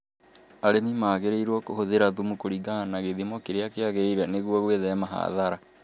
Arĩmi magĩrĩirũo kuhuthira thumu kũringana na gĩthimo kĩria kĩagirĩire nĩguo gwĩthema hadhara